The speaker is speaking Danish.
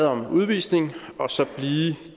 om udvisning og så blive